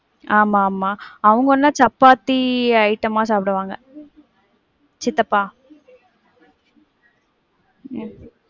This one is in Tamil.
ஆமா ஆமா. அவங்கனா சப்பாத்தி item ஆ சாப்பிடுவாங்க. சித்தப்பா, உம்